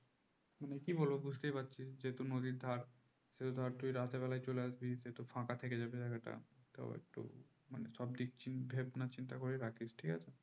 কি বলবো বুঝতে পারছিস যেহুতু নদীর ধার সেহুতু ধর তুই রাতের বেলায় চলে আসবি তো জায়গাটা ফাঁকা থেকে যাবে জায়গাটা তো একটু সব দিক চিন্তে চিন্তা ভাবনা করেই রাখিস ঠিক আছে